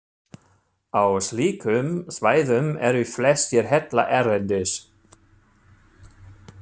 Á slíkum svæðum eru flestir hellar erlendis.